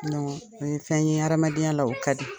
o ye fɛn ye hadamadenya la, o ka di.